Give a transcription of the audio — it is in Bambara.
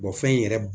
fɛn in yɛrɛ